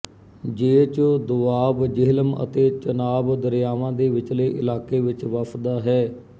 ਜੇਚ ਦੋਆਬ ਜੇਹਲਮ ਅਤੇ ਚਨਾਬ ਦਰਿਆਵਾਂ ਦੇ ਵਿਚਲੇ ਇਲਾਕੇ ਵਿੱਚ ਵਸਦਾ ਹੈ